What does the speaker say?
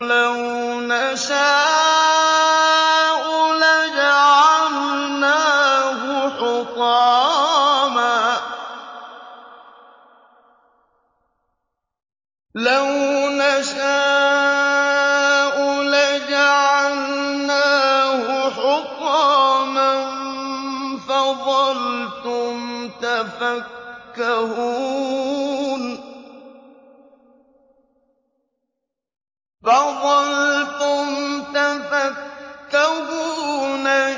لَوْ نَشَاءُ لَجَعَلْنَاهُ حُطَامًا فَظَلْتُمْ تَفَكَّهُونَ